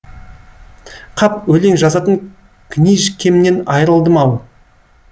қап өлең жазатын книжкемнен айрылдым ау